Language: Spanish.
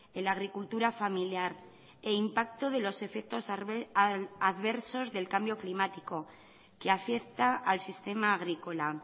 en la agricultura familiar e impacto de los efectos adversos del cambio climático que afecta al sistema agrícola